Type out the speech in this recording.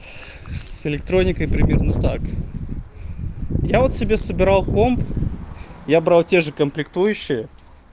с электроникой примерно так я вот себе собирал комп я брал те же комплектующие